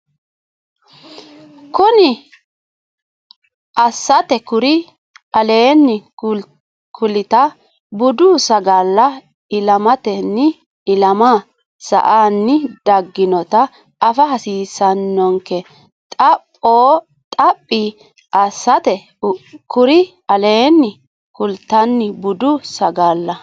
Xaphi assate kuri aleenni kullita budu sagalla ilamatenni ilama sa anni dagginota afa hasiissannonke Xaphi assate kuri aleenni kullita budu sagalla.